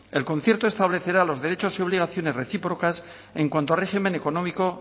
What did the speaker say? el concierto establecerá los derechos y obligaciones recíprocas en cuanto al régimen económico